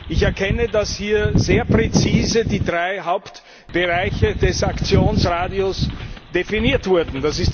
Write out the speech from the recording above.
Ich erkenne, dass hier sehr präzise die drei Hauptbereiche des Aktionsradius definiert wurden.